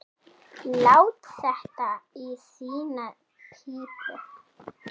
Lát þetta í þína pípu.